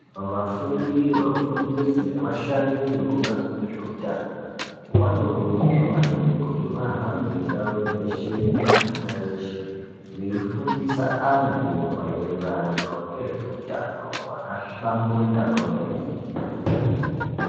Vafundi, vafundisi nevashandi vekubazi rezveutano vanokurudzirwa maningi kuti vahambe dzeshe minganga yeshe veifundisa antu mairirano ngezveutano hwakahlamburuka kwemene.